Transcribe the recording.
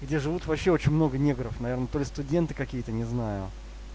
где живут вообще очень много негров наверное то ли студенты какие-то не знаю